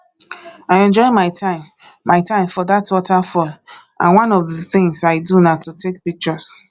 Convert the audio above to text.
i enjoy my time my time for dat waterfall and one of the things i do na to take pictures